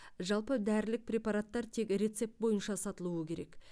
жалпы дәрілік препараттар тек рецепт бойынша сатылуы керек